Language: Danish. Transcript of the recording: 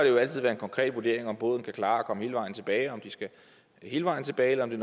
jo altid være en konkret vurdering om båden kan klare at komme hele vejen tilbage om de skal hele vejen tilbage eller om det